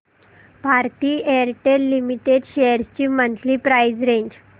Bharti Airtel Limited shares ची monthly price range